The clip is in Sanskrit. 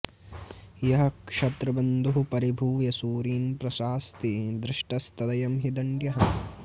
यः क्षत्रबन्धुः परिभूय सूरीन् प्रशास्ति धृष्टस्तदयं हि दण्ड्यः